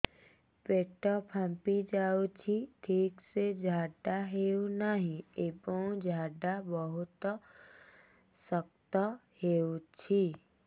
ପେଟ ଫାମ୍ପି ଯାଉଛି ଠିକ ସେ ଝାଡା ହେଉନାହିଁ ଏବଂ ଝାଡା ବହୁତ ଶକ୍ତ ହେଉଛି